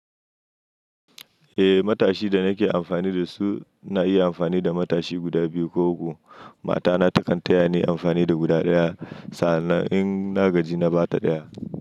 Eh matashi da nake amfani da su, na iya amfani da matashi guda biyu ko uku. Mata na takan taya ni amfani da guda ɗaya. Sa annan in na gaji na ba ta ɗaya.